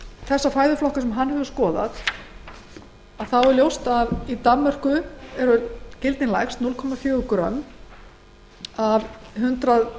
þá fæðuflokka sem hann hefur skoðað er ljóst að í danmörku eru gildin lægst dagleg neysla dana á transfitusýrum eru núll komma fjögur grömm í hundrað